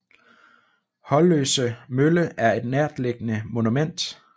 Holløse Mølle er et nærtliggende monument